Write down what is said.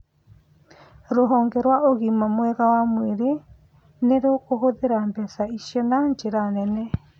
Rũhonge rwa ũgīma mwega wa mwĩrĩ nĩ rũkũhũthĩra mbeca icio na njĩra nene